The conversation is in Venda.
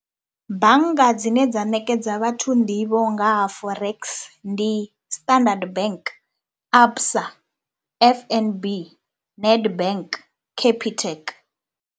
Bannga dzine dza ṋekedza vhathu nḓivho nga ha Forex, ndi Standard Bank, ABSA, F_N_B, Nedbank, Capitec.